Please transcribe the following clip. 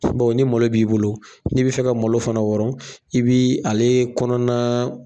ni malo b'i bolo, n'i bi fɛ ka malo fana wɔrɔn, i bi ale kɔnɔna